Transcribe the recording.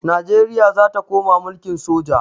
Najeriya za ta koma mulkin soja.